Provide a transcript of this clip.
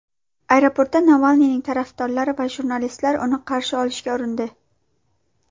Aeroportda Navalniyning tarafdorlari va jurnalistlar uni qarshi olishga urindi.